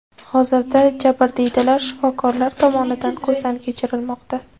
Hozirda jabrdiydalar shifokorlar tomonidan ko‘zdan kechirilmoqda.